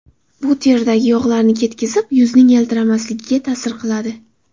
Bu teridagi yog‘larni ketkizib, yuzning yaltiramasligiga ta’sir qiladi.